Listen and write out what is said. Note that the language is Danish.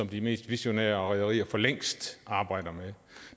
de mest visionære rederier for længst arbejder med